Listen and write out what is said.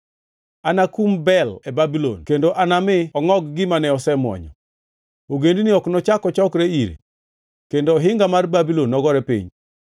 Anakum Bel e Babulon kendo anami ongʼog gima ne osemuonyo. Ogendini ok nochak ochokre ire. Kendo ohinga mar Babulon nogore piny.